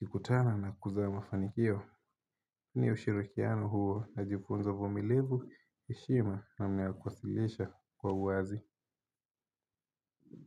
yakikutana na kuzaa mafanikio? Ni ushirikiano huo na kujifunza uvumilivu, heshima na mawazo kuwasilishwa kwa wazi.